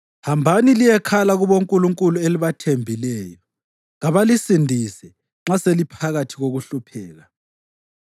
Hambani liyekhala kubonkulunkulu elibathembileyo. Kabalisindise nxa seliphakathi kokuhlupheka!”